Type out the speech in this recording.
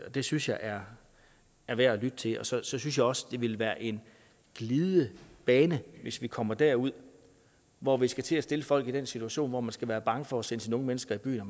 og det synes jeg er er værd at lytte til så synes jeg også det ville være en glidebane hvis vi kommer derud hvor vi skal til at sætte folk i den situation hvor man skal være bange for at sende sine unge mennesker i byen og